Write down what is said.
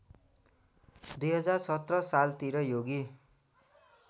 २०१७ सालतिर योगी